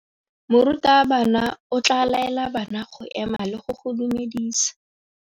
Morutabana o tla laela bana go ema le go go dumedisa.